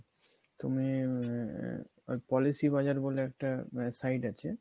তুমি ওই Policy Bazar বলে একটা site আছে